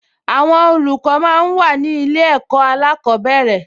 Àwọn olùkọ́ máa ń wà ní ilé ẹ̀kọ́ alákọ̀ọ́bẹ̀rẹ̀